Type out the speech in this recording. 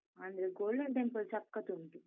ಅಂದ್ರೆ golden temple ಸಖತ್ ಉಂಟು.